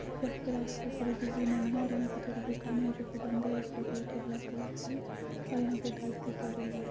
यहां पर रास्ता थोड़ा बिजी नहीं है और यहां पर थोड़ा दुकान है जो की बंद है सफेद और ब्लैक कलर की ओर यहां पर धूप भी पड़ी रही --